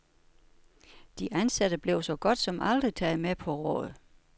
De ansatte blev så godt som aldrig taget med på råd.